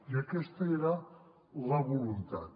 i aquesta era la voluntat